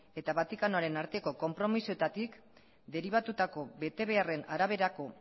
eta vaticanoaren arteko konpromisoetatik deribatutako betebeharren araberako